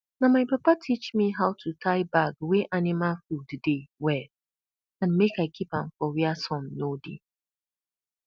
na my papa teach me how to tie bag wey anima food dey well and make i kip am for where sun no dey